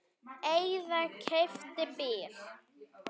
Eða keypti bíl.